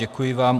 Děkuji vám.